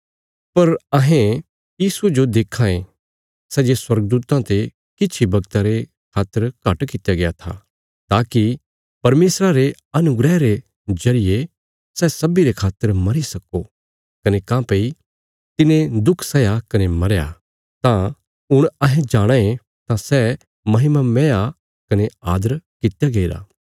पर अहें यीशुये जो देक्खां ये सै जे स्वर्गदूतां ते किछ इ वगता रे खातर घट कित्या गया था ताकि परमेशरा रे अनुग्रह रे जरिये सै सब्बीं रे खातर मरी सक्को कने काँह्भई तिने दुख सैया कने मरया तां हुण अहें जाणाँ ये भई सै महिमामय आ कने आदर कित्या गईरा